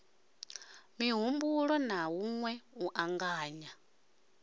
mihumbuloni na hunwe u anganya